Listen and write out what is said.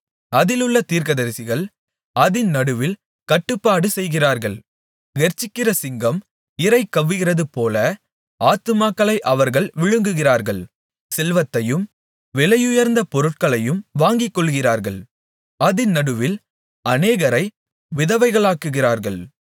அதிலுள்ள தீர்க்கதரிசிகள் அதின் நடுவில் கட்டுப்பாடு செய்கிறார்கள் கெர்ச்சிக்கிற சிங்கம் இரை கவ்வுகிறதுபோல ஆத்துமாக்களை அவர்கள் விழுங்குகிறார்கள் செல்வத்தையும் விலையுயர்ந்த பொருள்களையும் வாங்கிக்கொள்ளுகிறார்கள் அதின் நடுவில் அநேகரை விதவைகளாக்குகிறார்கள்